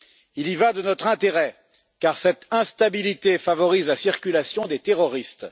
Il y va de notre intérêt car cette instabilité favorise la circulation des terroristes.